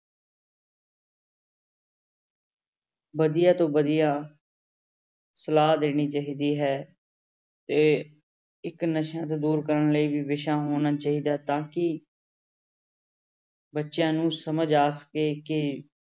ਵਧੀਆ ਤੋਂ ਵਧੀਆ ਸਲਾਹ ਦੇਣੀ ਚਾਹੀਦੀ ਹੈ ਤੇ ਇੱਕ ਨਸ਼ਿਆਂ ਤੋਂ ਦੂਰ ਕਰਨ ਲਈ ਵੀ ਵਿਸ਼ਾ ਹੋਣਾ ਚਾਹੀਦਾ ਤਾਂ ਕਿ ਬੱਚਿਆਂ ਨੂੰ ਸਮਝ ਆ ਸਕੇ ਕਿ